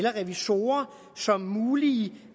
og revisorer som mulige